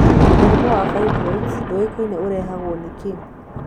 Mũrimũ wa fibroid ndũĩkaine ũrehagwo nĩ kĩĩ.